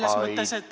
Aitäh!